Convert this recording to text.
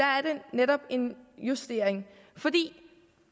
netop en justering